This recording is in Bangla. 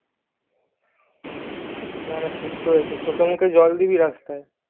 না না ঠিক করেছিস চোখে মুখে জল দিবি রাস্তায়